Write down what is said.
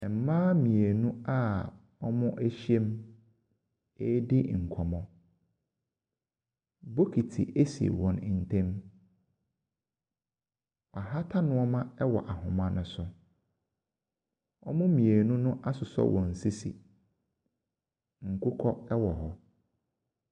Mmaa mmienu a wɔahyia mu redi nkɔmmɔ, bokiti si wɔn ntam. Wɔahata nneɛma wɔ ahoma no so. Wɔn mmienu no asosɔ wɔn sisi. Nkokɔ wɔ hɔ.